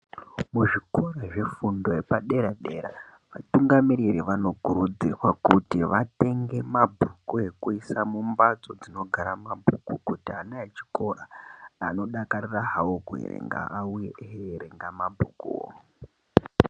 Muzvikora zvefundo yepadera dera vatungamiriri vanokurudzirwa kuti vatenge mabhuku ekuisa mumbatso dzinogara mabhuku kuti ana echikora anodakarira hawo kuerenga auye hawo eierenga mabhuku.